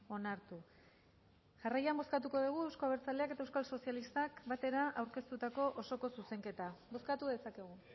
onartu jarraian bozkatuko dugu euzko abertzaleak eta euskal sozialistak batera aurkeztutako osoko zuzenketa bozkatu dezakegu